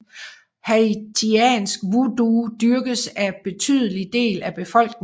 Haitiansk voodoo dyrkes af en betydelig del af befolkningen